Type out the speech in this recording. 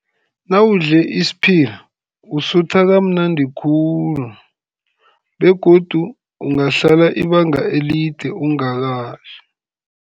Nawudle isiphila usutha kamnandi khulu, begodu ungahlala ibanga elide ungakadli.